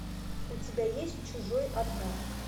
у тебя есть чужой одна